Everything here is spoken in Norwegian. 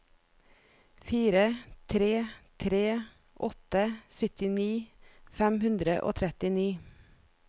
fire tre tre åtte syttini fem hundre og trettini